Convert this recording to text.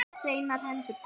Hreinar hendur takk!